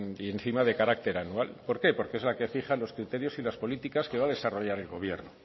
y encima de carácter anual por qué porque es la que fija los criterios y las políticas que va a desarrollar el gobierno